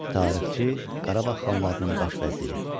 Tarixçi, Qarabağ xanlarının baş vəziri.